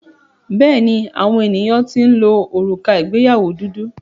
Bẹ́ẹ̀ni, àwọn ènìyàn ti ń lo òrùka ìgbéyàwó dúdú.